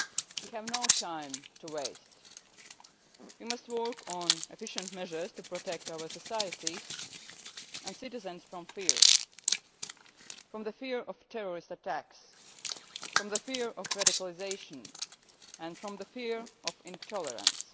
We have no time to waste. We must work on efficient measures to protect our societies and citizens from fear from the fear of terrorist attacks, from the fear of radicalisation, and from the fear of intolerance.